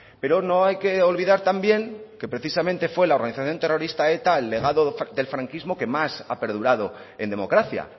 pero no hay que olvidar también que precisamente fue la organización terrorista eta el legado del franquismo que más ha perdurado en democracia